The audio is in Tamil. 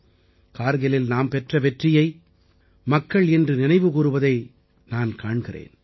இன்று கார்கிலில் நாம் பெற்ற வெற்றியை மக்கள் இன்று நினைவுகூருவதை நான் இன்று காண்கிறேன்